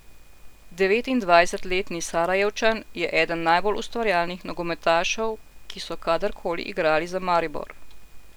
Devetindvajsetletni Sarajevčan je eden najbolj ustvarjalnih nogometašev, ki so kadar koli igrali za Maribor.